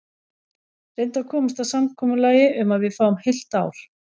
Reyndu að komast að samkomulagi um að við fáum heilt ár.